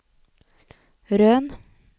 Røn